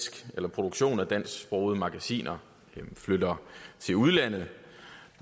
produktion af dansksprogede magasiner flytter til udlandet